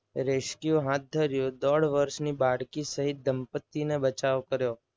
rescue હાથ ધરી દોઢ વર્ષની બાળકી સહિત દંપત્તિનો બચાવ કર્યો.